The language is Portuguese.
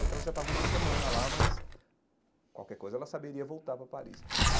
Bem que ela já estava uma semana lá, mas qualquer coisa ela saberia voltar para Paris